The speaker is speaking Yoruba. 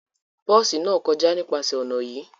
Bosi náà kọja nípasẹ ọna yii